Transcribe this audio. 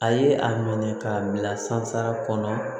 A ye a minɛ k'a bila sansara kɔnɔ